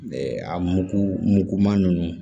A mugu mugu ma ninnu